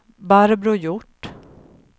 Barbro Hjort